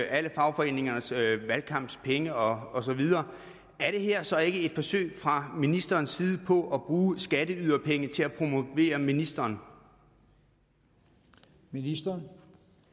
alle fagforeningernes valgkampspenge og så videre så ikke er et forsøg fra ministerens side på at bruge skatteyderpenge til at promovere ministeren ministeren